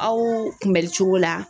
Aw kunbɛlicogo la